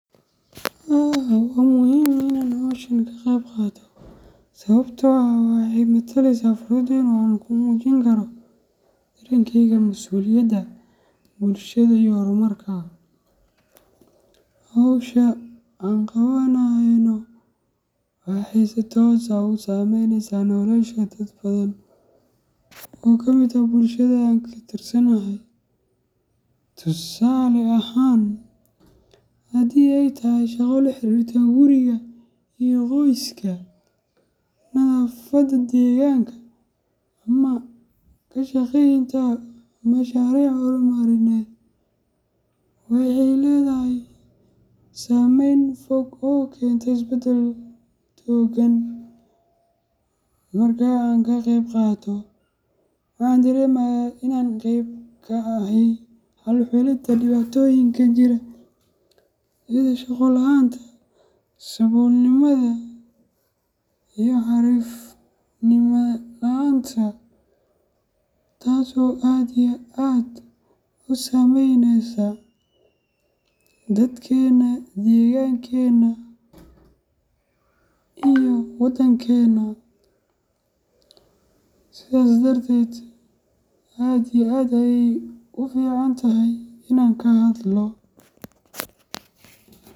Wa muhim Ina hooshan kaqebqathatoh, sawabta oo eeh waxay mathaleysah Qoofka inu kumujin karoh, dangeyga masuliyada bulshada iyo hormarka hossha anqawanayo noh waxay si toos aah usameyneysah nolosha dadka oo daan oo kamit aah bulshada, tusale ahaan handi ayatahay shaqovlaxarirtoh guuri iyo qoyska nathafada deganga amah kashaqeyanata masharicda hormarineet waxay Leethahay sameeyn foog oo keenyatay isbaldal la ogeen, marka ankaqebqatoh waxaderemahay Ina qeeb ka ahay dulcolita dewatoyinga jiroh iyo shugul ahaanta sabulnimatha iyo xarif laanta, taaso aad iyo aad usameyneysah dadkena degangenah iyo wadenganah sethasi darteed aad iyo aad uficantahay Ina kahadloh.